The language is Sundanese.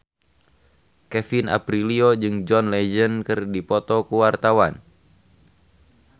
Kevin Aprilio jeung John Legend keur dipoto ku wartawan